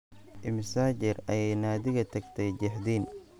Immisa jeer ayay Nadia tagtay jeexdin?